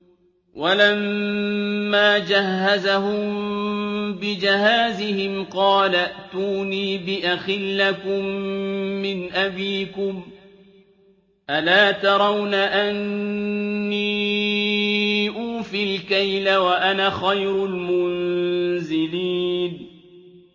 وَلَمَّا جَهَّزَهُم بِجَهَازِهِمْ قَالَ ائْتُونِي بِأَخٍ لَّكُم مِّنْ أَبِيكُمْ ۚ أَلَا تَرَوْنَ أَنِّي أُوفِي الْكَيْلَ وَأَنَا خَيْرُ الْمُنزِلِينَ